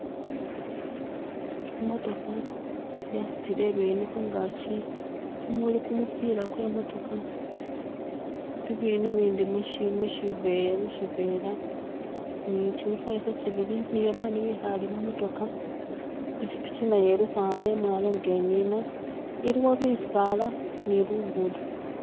Imotokha yasutile ibinu khungachi muli kumupila kwemotokha bibindu bini mishi mushive mushivela ni shi mifaliso shibili ni babandu bikhale mumotokha pichipichi nayo ilkhwama imwalo nga nina iliwo bisaalani lugudo